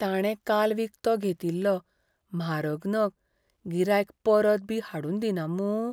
ताणें काल विकतो घेतिल्लो म्हारग नग गिरायक परतबी हाडून दिना मूं?